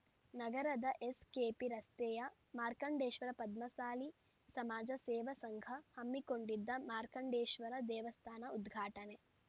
ನಗರದ ಎಸ್‌ಕೆಪಿ ರಸ್ತೆಯ ಮಾರ್ಕಂಡೇಶ್ವರ ಪದ್ಮಸಾಲಿ ಸಮಾಜ ಸೇವಾ ಸಂಘ ಹಮ್ಮಿಕೊಂಡಿದ್ದ ಮಾರ್ಕಂಡೇಶ್ವರ ದೇವಸ್ಥಾನ ಉದ್ಘಾಟನೆ